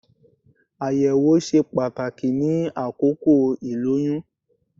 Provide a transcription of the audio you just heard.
Àyẹ̀wò ṣe pàtàkì ní àkókò ìlóyún